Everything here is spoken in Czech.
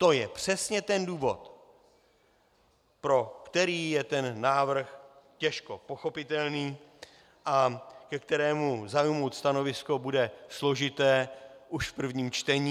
To je přesně ten důvod, pro který je ten návrh těžko pochopitelný a ke kterému zaujmout stanovisko bude složité už v prvním čtení.